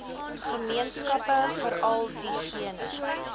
gemeenskappe veral diegene